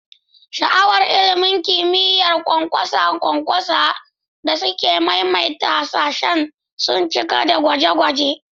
Sha'awar ilimin kimiyya, ƙwanƙwasa ƙwanƙwasa, da sake maimaita hasashe sun cika dakunan gwaje-gwaje.